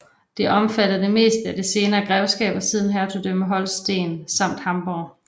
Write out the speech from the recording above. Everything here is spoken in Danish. Det omfattede det meste af det senere grevskab og siden hertugdømme Holsten samt Hamborg